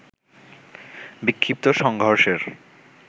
বিক্ষিপ্ত সংঘর্ষের